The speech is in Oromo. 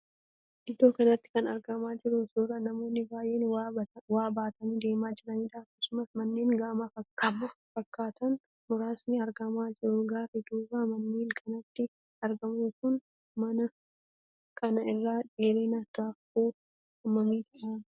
Iddoo kanatti kan argaa jirru suuraa namoonni baay'een waa baatanii deemaa jiraniidha. Akkasumas manneen gamoo fakkaatan muraasni argamaa jiru. Gaarri duuba manneen kanaatti argamu kun mana kana irraa dheerina taakkuu hammamii ta'a?